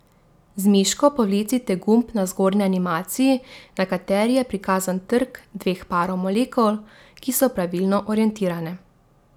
Z miško povlecite gumb na zgornji animaciji, na kateri je prikazan trk dveh parov molekul, ki so pravilno orientirane.